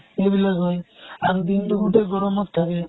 এইবিলাক হয়, আৰু দিন টো গোতেই গৰমত থাকে।